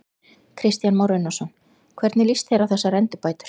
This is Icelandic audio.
Kristján Már Unnarsson: Hvernig líst þér á þessar endurbætur?